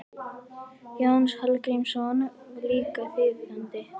Jónas Hallgrímsson var líka þýðandi.